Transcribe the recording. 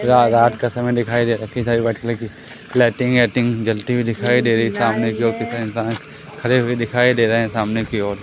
रा-रात का समय दिखाई दे रहा है कई सारी व्हाईट कलर की लाईटिंग वाइटिंग जलती हुई दिखाई दे रही है सामने की ओर कई सारे इंसान खड़े हुए दिखाई दे रहे हैं सामने की ओर।